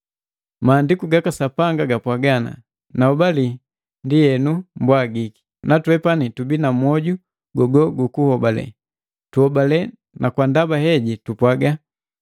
Maandiku gaka Sapanga gapwaaga, “Naobali, ndi henu mbwagiki.” Natwepani tubii na moju gogo guku hobale, tuhobale na kwa ndaba heji tupwaaga,